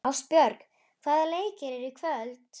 Ástbjörg, hvaða leikir eru í kvöld?